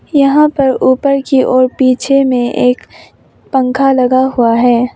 यहां पर ऊपर की ओर पीछे में एक पंखा लगा हुआ है।